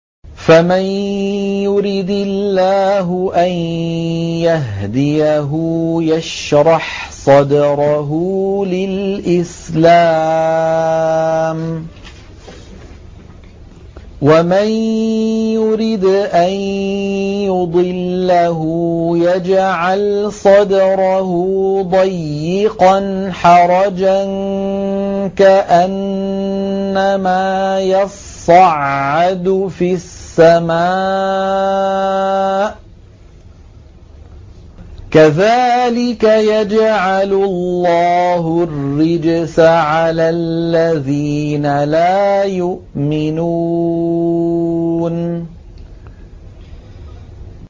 فَمَن يُرِدِ اللَّهُ أَن يَهْدِيَهُ يَشْرَحْ صَدْرَهُ لِلْإِسْلَامِ ۖ وَمَن يُرِدْ أَن يُضِلَّهُ يَجْعَلْ صَدْرَهُ ضَيِّقًا حَرَجًا كَأَنَّمَا يَصَّعَّدُ فِي السَّمَاءِ ۚ كَذَٰلِكَ يَجْعَلُ اللَّهُ الرِّجْسَ عَلَى الَّذِينَ لَا يُؤْمِنُونَ